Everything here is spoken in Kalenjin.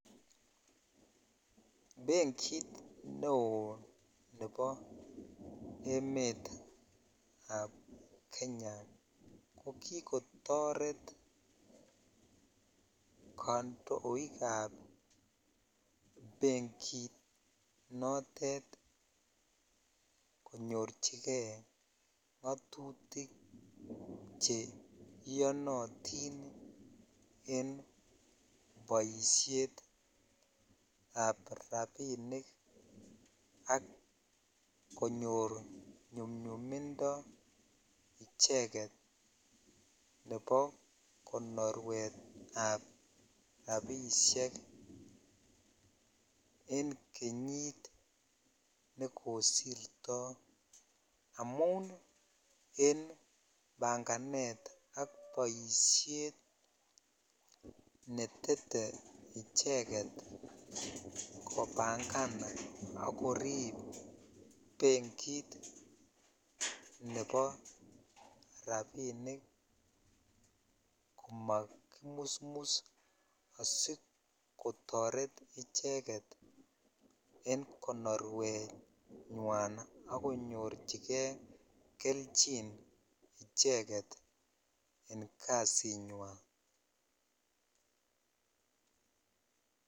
Benkit neo nebo emetab Kenya ko kikotoret kandoikab benkit notet konyorchige ngatutik che iyonotin en boisietab rapinik ak konyor nyumnyumindo icheget nebo konorwet ab rapisiek en kenyit nekosirto amun en banganet ak boisiet netete icheget kopangan ak korip benkit nebo rapinik komakimusmus asikotaret icheget en konorwenywan ak konyorchige kelchin icheget en kasinywan.